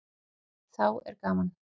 Þá er gaman.